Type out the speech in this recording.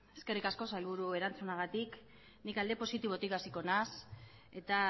eskerrik asko sailburu erantzunagatik ni alde positibotik hasiko naiz eta